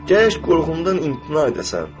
Gərək qorxundan imtina edəsən.